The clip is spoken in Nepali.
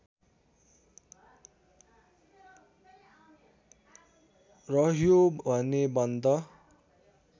रह्यो भने बन्द